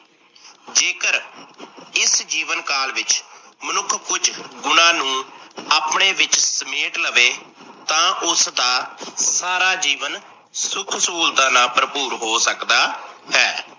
ਜੇਕਰ ਇਸ ਜੀਵਨ ਕਾਲ ਵਿੱਚ ਮਨੁੱਖ ਕੁਝ ਗੁਣਾਂ ਨੂੰ ਆਪਣੇ ਵਿੱਚ ਸਮੇਟ ਲਵੇ ਤਾਂ ਉਸਦਾ ਸਾਰਾ ਜੀਵਨ ਸੁਖ ਸਹੂਲਤਾਂ ਭਰਪੂਰ ਹੋ ਸਕਦਾ ਹੈ।